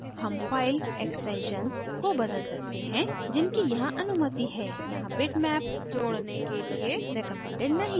हम file extensions को बदल सकते हैं जिनकी यहाँ अनुमति है यहाँ bitmap जोडने के लिए recommended नहीं है